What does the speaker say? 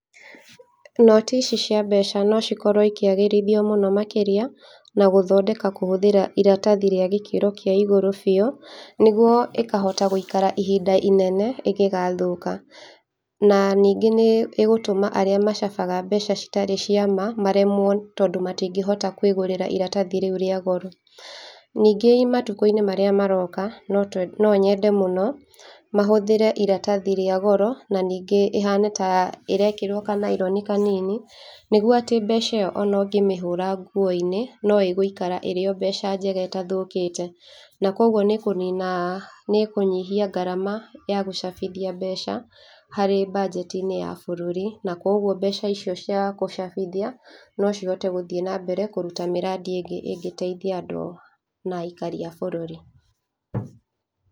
Noti ici cia mbeca no cikorwo ikĩagĩrithio mũno makĩria na gũthondeka kũhũthĩra iratathi rĩa gĩkĩro kĩa igũrũ biũ, nĩguo ĩkahota gũikara ihinda inene ĩgĩgathũka. Na ningĩ nĩĩgũtũma arĩa macabaga mbeca citarĩ ciama maremwo, tondũ matingĩhota kwĩgũrĩra iratathi rĩu rĩa goro. Ningĩ matukũ-inĩ marĩa maroka, no twe no nyende mũno mahũthĩre iratathi rĩa goro na ningĩ ĩhane ta ĩrekĩrwo kanaironi kanini, nĩguo atĩ mbeca ĩyo ona ũngĩmĩhũra nguo-inĩ, no ĩgũikara ĩrĩ o mbeca njega ĩtathũkĩte, na koguo nĩĩkũnina nĩĩkũnyihia ngarama ya gũcabithia mbeca harĩ mbanjeti-inĩ ya bũrũri, na koguo mbeca icio cia kũcabithia no cihote gũthiĩ na mbere kũruta mĩrandi ĩngĩ ĩngĩteithia andũ na aikari a bũrũri.